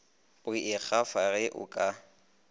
go ikgafa ge o ka